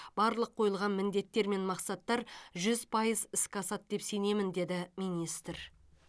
барлық қойылған міндеттер мен мақсаттар жүз пайыз іске асады деп сенемін деді министр